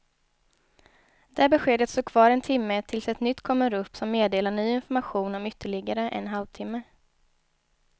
Det beskedet står kvar en timme tills ett nytt kommer upp som meddelar ny information om ytterligare en halv timme.